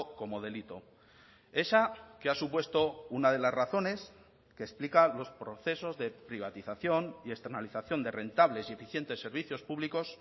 como delito esa que ha supuesto una de las razones que explica los procesos de privatización y externalización de rentables y eficientes servicios públicos